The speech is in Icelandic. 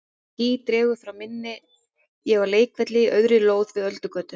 Þegar ský dregur frá minni er ég á leikvelli á auðri lóð við Öldugötu.